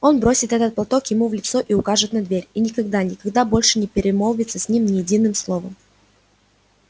она бросит этот платок ему в лицо и укажет на дверь и никогда никогда больше не перемолвится с ним ни единым словом